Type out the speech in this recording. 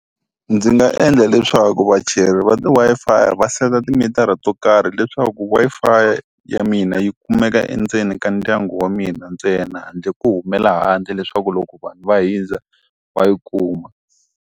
Ndzi nga endla leswaku vacheri va ti Wi-Fi va set-a timitara to karhi leswaku Wi-Fi ya mina yi kumeka endzeni ka ndyangu wa mina ntsena handle ko humela handle leswaku loko vanhu va hundza va yi kuma.